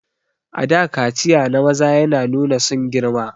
A da kaciya na maza yana nuna sun girma